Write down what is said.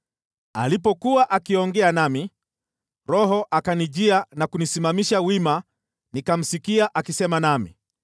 Alipokuwa akiongea nami, Roho akanijia na kunisimamisha wima, nikamsikia akisema nami.